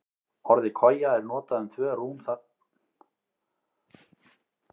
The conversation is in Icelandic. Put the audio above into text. Til að svara spurningunni beint, þá hefur sennilega gosið tvisvar í Kröflu síðan land byggðist.